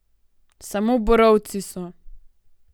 Samo borovci so.